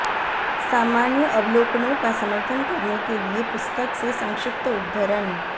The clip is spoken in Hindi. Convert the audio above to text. सामान्य अवलोकनों का समर्थन करने के लिए पुस्तक से संक्षिप्त उद्धरण